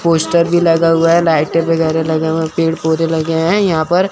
Poster भी लगा हुआ है लाइटें वगैरह लगे हुए हैं पेड़ पौधे लगे हैं यहां पर।